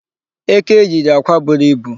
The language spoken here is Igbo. Eke yiri akwa buru ibu.